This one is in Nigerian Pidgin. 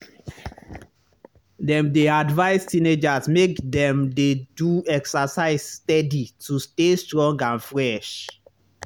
dem dey advise teenagers make dem dey do exercise steady to stay strong and fresh.